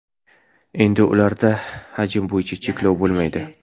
Endi ularda hajm bo‘yicha cheklov bo‘lmaydi.